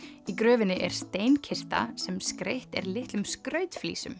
í gröfinni er sem skreytt er litlum